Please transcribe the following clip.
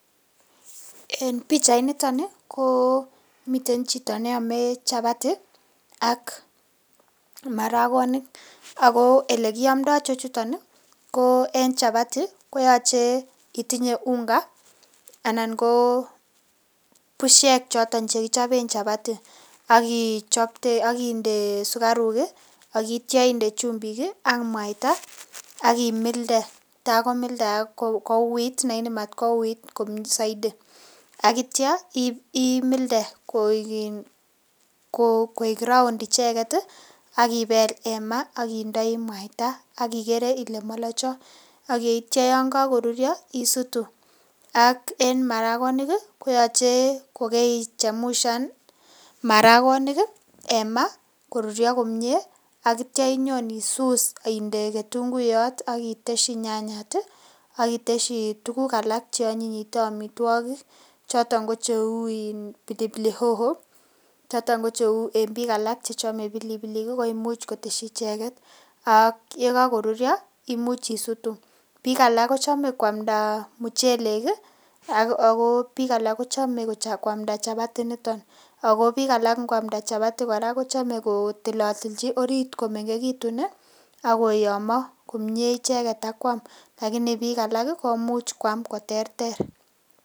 En pichainitoni ko miten chito neame chapati ak maragonik ago olekiamndo ichechuton ko en chapati koyoche itinye unga anan ko busiek choto che kichoben chapati ak inde sukaruk akitya inde chumbik ak mwaita ak imilde taakomildaak kouit nematkouwit saidi ak kitya imilde koik raond icheget, ak ibel en maa ak indoi mwaita ak igere ile malocho ak itya yon kakorurio isutu. Ak en maragonik ko yoche kokaichemshan maragonik en ma korurio komie ak kitya inyon isus ak inde ketunguiyot ak itesyi nyanyat ak itestyi tuguk alak che anyinyitu amitwogik, choton kocheu inpilipilioho choton ko en biikalak chechome pilipilik koimuch kotesyi icheget ak yekakorurio imuch isutu. Biik alak kochome kwamnda muchelek ago biik alak kochome kwamnda chapati initon. Ago biik alak ingwamnda chapati kora kochome kotilatilchi orit komengegitun ak koyomo komie icheget akwam. Lakini biik alak komuch kwam koterter.